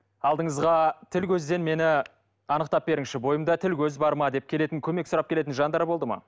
алдыңызға тіл көзден мені анықтап беріңізші бойымда тіл көз бар ма деп келетін көмек сұрап келетін жандар болды ма